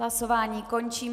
Hlasování končím.